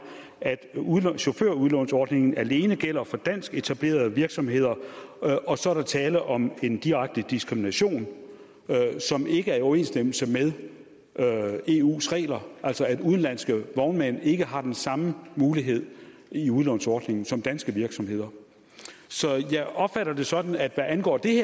at chaufførudlånsordningen alene gælder for dansketablerede virksomheder og så er der tale om en direkte diskrimination som ikke er i overensstemmelse med eus regler altså at udenlandske vognmænd ikke har den samme mulighed i udlånsordningen som danske virksomheder så jeg opfatter det sådan at hvad angår det